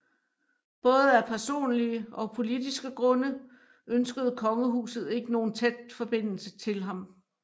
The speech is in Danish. Både af personlige og politiske grunde ønskede kongehuset ikke nogen tæt forbindelse til ham